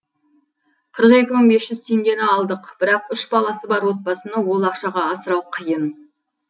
қырық екі мың бес жүз теңгені алдық бірақ үш баласы бар отбасыны ол ақшаға асырау қиын